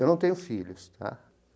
Eu não tenho filhos, tá?